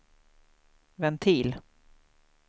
ventil